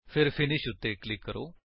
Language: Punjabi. ਫਿਰ ਫਿਨਿਸ਼ ਉੱਤੇ ਕਲਿਕ ਕਰੋ